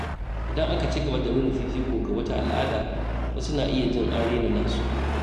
Idan aka ci gaba da nuna fifiko ga wata al’ada, wasu na iya jin an raina nasu.